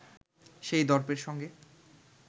সেই দর্পের সঙ্গে